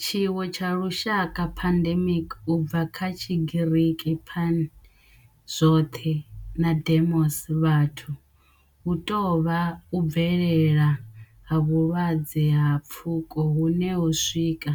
Tshiwo tsha lushaka pandemic, u bva kha Tshigiriki pan, zwoth na demos, vhathu hu tou vha u bvelela ha vhulwadze ha pfuko hune ho swika